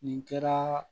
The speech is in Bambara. Nin kɛra